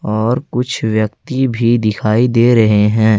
और कुछ व्यक्ति भी दिखाई दे रहे हैं।